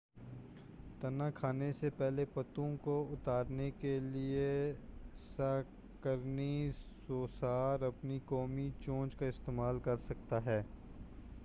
تنا کھانے سے پہلے پتوں کو اتارنے کیلئے سَہ قَرنی سوسار اپنی قوی چونچ کا استعمال کرسکتا تھا